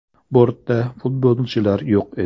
Bortda futbolchilar yo‘q edi.